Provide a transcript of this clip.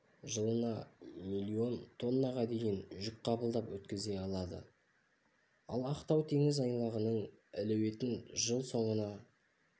жылына миллион тоннаға дейін жүк қабылдап өткізе алады ал ақтау теңіз айлағының әлеуетін жыл соңына